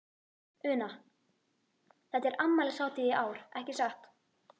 Una, þetta er afmælishátíð í ár, ekki satt?